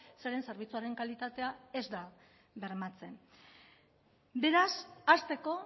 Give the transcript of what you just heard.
zeren zerbitzuaren kalitatea ez da bermatzen beraz hasteko